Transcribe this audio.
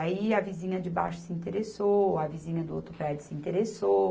Aí a vizinha de baixo se interessou, a vizinha do outro prédio se interessou.